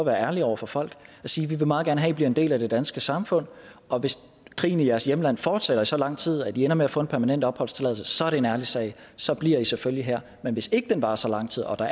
være ærlig over for folk og sige vi vil meget gerne have at i bliver en del af det danske samfund og hvis krigen i jeres hjemland fortsætter i så lang tid at i ender med at få en permanent opholdstilladelse så er det en ærlig sag så bliver i selvfølgelig her men hvis ikke den varer så lang tid og der